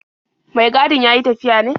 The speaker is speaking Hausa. Mai gadin ya yi tafiya ne?